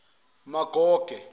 magoge